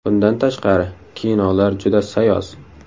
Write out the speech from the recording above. Bundan tashqari kinolar juda sayoz.